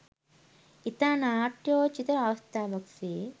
ඉතා නාට්‍යෝචිත අවස්ථාවක් සේ